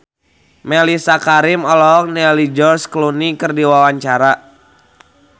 Mellisa Karim olohok ningali George Clooney keur diwawancara